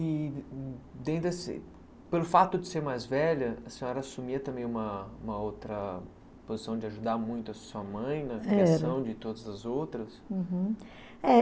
E e pelo fato de ser mais velha, a senhora assumia também uma outra posição de ajudar muito a sua mãe na criação de todas as outras?